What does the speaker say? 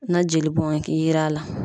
Na jeli bɔn ke yer'a la